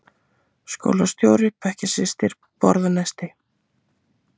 Skólastjóri- bekkjarsystir- borða nesti